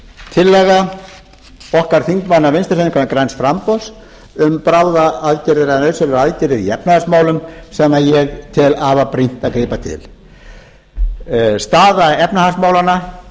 tillaga okkar þingmanna vinstri hreyfingarinnar græns framboðs um bráðaaðgerðir eða nauðsynlegar aðgerðir í efnahagsmálum sem ég tel afar brýnt að grípa til staða efnahagsmálanna